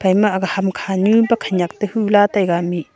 ama aga hamkha ntu bakha khanyak tehu la taga mih.